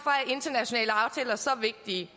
internationale aftaler så vigtige